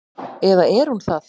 Eða er hún það?